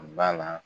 Ba la